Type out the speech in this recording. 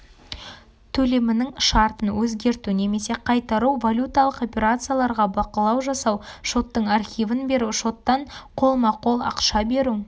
төлемінің шартын өзгерту немесе қайтару валюталық операцияларға бақылау жасау шоттың архивін беру шоттан қолма-қол ақша беру